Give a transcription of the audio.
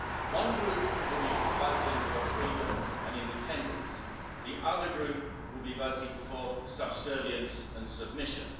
One group will be voting for freedom and independence. The other group will be voting for subservience and submission.